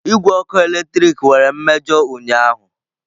Igwe ọkụ eletrik nwere mmejọ ụnyaahụ.